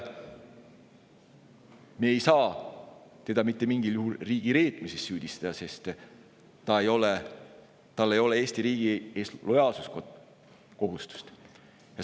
Me ei saa teda mitte mingil juhul riigireetmises süüdistada, sest tal ei ole Eesti riigi ees lojaalsuskohustust.